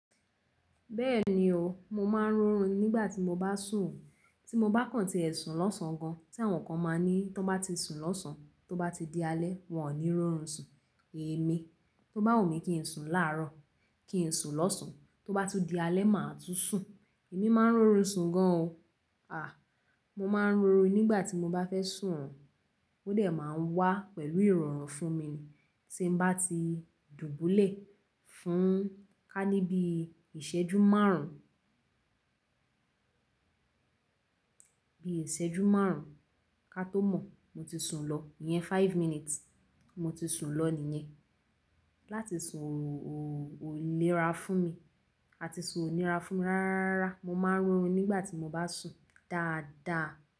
Bẹ́ẹ̀ni o, mo máa ń rọrùn nígbà tí mo bá sùn. Tí mo bá kàn tí ẹ̀ sùn lọ́sàn gan, tí àwọn kan máa ń ní tí wọ́n bá ti sùn lọ́sàn tó bá ti di alẹ́ wọ́n ò ní rọrùn sùn. Èmi, tó bá wùmí kí n sùn láàrọ̀, kí n sùn lọ́sàn, tó bá tún di alẹ́ máa tún sùn. Èmi máa ń rọrùn sùn gan o. À, mo máa ń rọrùn nígbà tí mo bá fẹ́ sùn o Ó dẹ̀ máa ń wá pẹ̀lú ìrọ̀rùn fún mi tí n bá ti dùbúlẹ̀ fún ká ní bí ìṣẹ́jú márùn, bí ìṣẹ́jú márùn ka tó mọ̀ mo ti sùn lọ. Iyẹn five minutes mo ti sùn lọ nìyẹn. Láti sùn ò níra fún mi. A ti sùn ò níra fún mi rárá. Mo máa ń rọrùn nígbà tí mo bá sùn dáadáa.